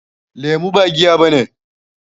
Lemu ba giya bane.